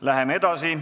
Läheme edasi.